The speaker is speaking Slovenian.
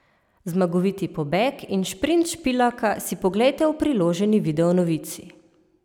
Zmagoviti pobeg in šprint Špilaka si poglejte v priloženi videonovici!